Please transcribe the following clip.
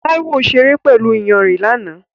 Taiwo ṣeré pẹ̀lú iyanrìn lánàá.